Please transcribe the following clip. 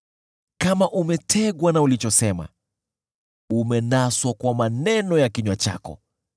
kama umetegwa na ulichosema, umenaswa kwa maneno ya kinywa chako,